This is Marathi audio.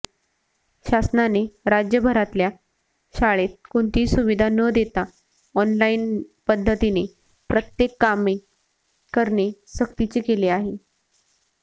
शासनाने राज्यभरातल्या शाळेत कोणतीही सुविधा न देता ऑनलाईन पद्धतीने प्रत्येक कामे करणे सक्तीचे केले आहे